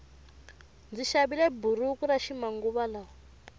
ndzi xavile buruku yaxi manguva lawa